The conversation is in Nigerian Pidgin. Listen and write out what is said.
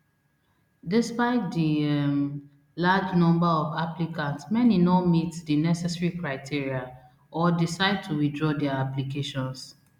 despite di um large number of applicants many no meet di necessary criteria or decide to withdraw dia applications